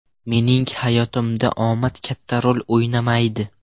Mening hayotimda omad katta rol o‘ynamaydi.